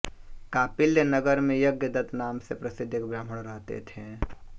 कांपिल्य नगर में यज्ञ दत्त नाम से प्रसिद्ध एक ब्राह्मण रहते थे